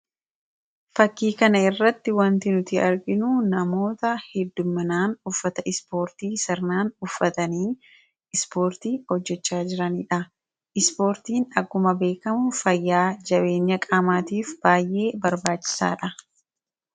fakkiikana irratti wanti nuti arginuu namoota hedduminaan uffata ispoortii sarnaan uffatanii ispoortii hojjechaa jiraniidha ispoortiin agguma beekamuu fayyaa jabeenya qaamaatiif baay'ee barbaachisaadha